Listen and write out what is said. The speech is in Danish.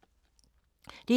DR2